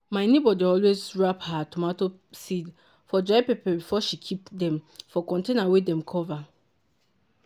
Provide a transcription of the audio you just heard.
my neighbour dey always wrap her tomato seed for dry paper before she keep dem for container wey dem cover.